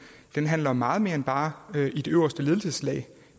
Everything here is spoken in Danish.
handler om meget mere end bare det øverste ledelseslag